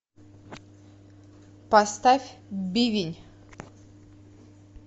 поставь бивень